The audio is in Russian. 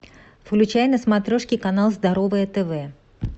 включай на смотрешке канал здоровое тв